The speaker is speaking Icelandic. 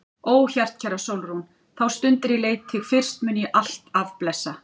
Ó hjartkæra Sólrún, þá stund er ég leit þig fyrst mun ég alt af blessa.